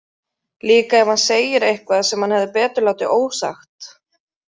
Líka ef hann segir eitthvað sem hann hefði betur látið ósagt.